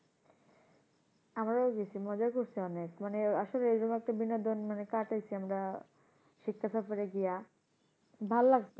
আমরাও গেছি মজা করসি অনেক। মানে আসলে এরকম একটা বিনোদন মানে কাটাইসি আমরা শিক্ষা সফরে গিয়া, ভাল লাগত,